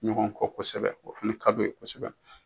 Ɲɔgɔn kɔ kosɛbɛ o fana ka d'o ye.